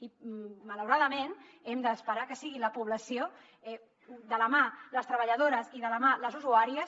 i malauradament hem d’esperar que sigui la població de la mà de les treballadores i de la mà de les usuàries